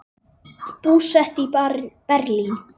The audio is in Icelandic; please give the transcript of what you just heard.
Búsett í Berlín.